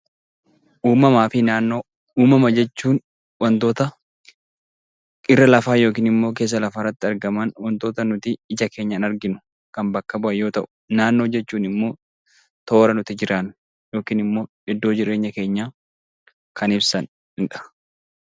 Uumaafi naannoo umama jechuun wantoota irra lafaa yookaan keessa lafaaatti ija keenyaan arginu yommuu ta'u, naannoo jechuun immoo iddoo yookaan toora jireenya keenyaa kan ibsan